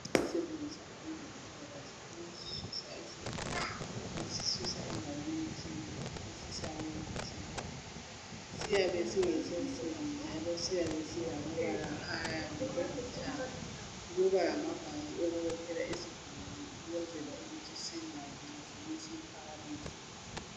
Esisetshenziswa ngabezempilakahle ukususa isigulane esisusa endaweni ethile esisa kwenye ethile syabe singese nsimbi njalo syabe silamabala ayabe elithanga kubalamabhanti okubophela isigulane ukuze singawi uma sebesiphakamisa.